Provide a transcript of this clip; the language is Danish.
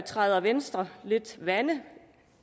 træder venstre lidt vande